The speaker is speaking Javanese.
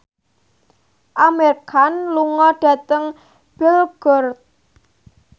Amir Khan lunga dhateng Belgorod